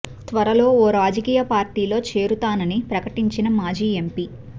త్వరలో ఓ రాజకీయ పార్టీ లో చేరుతానని ప్రకటించిన మాజీ ఎంపీ